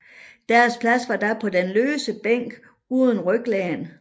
Deres plads var da på den løse bænk uden ryglæn